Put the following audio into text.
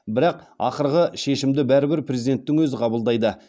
бірақ ақырғы шешімді бәрібір президенттің өзі қабылдайды